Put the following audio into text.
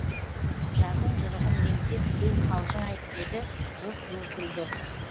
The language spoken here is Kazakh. жардың жырығын меңзеп біреу қалжың айтып еді жұрт ду күлді